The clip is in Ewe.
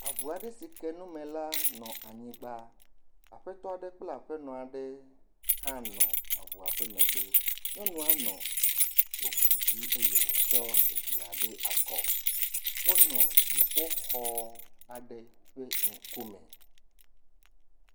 Avu aɖe si ke nume la nɔ anyigba, aƒetɔ kple aƒenɔ la nɔ avua megbe, aƒenɔ ɖe nɔ aŋu dzi eye wòtsɔ via ɖe akɔ. Wonɔ dziƒo xɔ aɖe ƒe ŋkume.